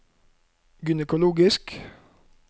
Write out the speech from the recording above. gynekologisk